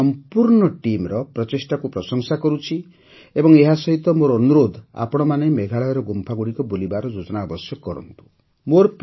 ମୁଁ ଏହି ସମ୍ପୂର୍ଣ୍ଣ ଟିମ୍ର ପ୍ରଚେଷ୍ଟାକୁ ପ୍ରଶଂସା କରୁଛି ଏବଂ ଏହାସହିତ ମୋର ଅନୁରୋଧ ଆପଣମାନେ ମେଘାଳୟର ଗୁମ୍ଫାଗୁଡ଼ିକ ବୁଲିବାର ଯୋଜନା ଅବଶ୍ୟ କରନ୍ତୁ